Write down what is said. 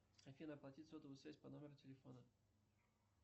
афина оплатить сотовую связь по номеру телефона